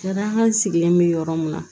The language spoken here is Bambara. Kɛrɛnkɛran sigilen bɛ yɔrɔ min na